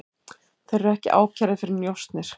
Þeir eru ekki ákærðir fyrir njósnir